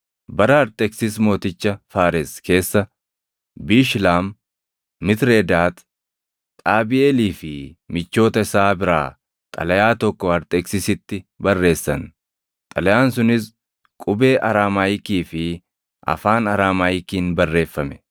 Bara Arxeksis mooticha Faares keessa Biishlaam, Mitredaat, Xaabiʼeelii fi michoota isaa biraa xalayaa tokko Arxeksisitti barreessan. Xalayaan sunis qubee Araamaayikii fi afaan Araamaayikiin barreeffame.